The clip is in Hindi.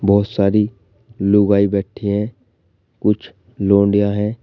बहुत सारी लुगाई बैठी है कुछ लौंडिया है।